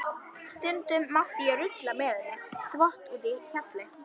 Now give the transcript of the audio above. Stundum mátti ég rulla með henni þvott úti í hjalli.